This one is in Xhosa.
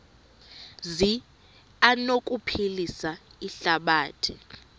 zi anokuphilisa ihlabathi